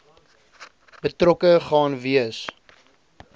betrokke gaan wees